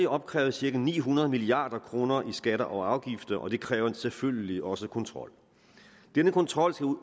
opkrævet cirka ni hundrede milliard kroner i skatter og afgifter og det kræver selvfølgelig også kontrol denne kontrol